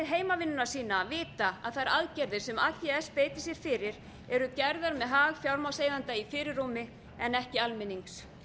heimavinnuna sína vita að þær aðgerðir sem ags beitir sér fyrir eru gerðar með hag fjármagnseigenda í fyrirrúmi en ekki almennings